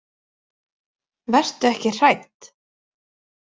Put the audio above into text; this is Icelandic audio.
Vertu ekki hrædd.